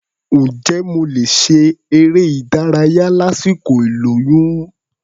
Ǹjẹ́ mo lè ṣe eré-ìdárayá lásìkò ìlóyún?